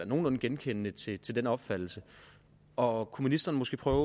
nogenlunde genkendende til den opfattelse og kunne ministeren måske prøve